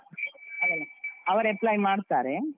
ಅಲ್ಲಲ್ಲ ಅವರು apply ಮಾಡ್ತಾರೆ.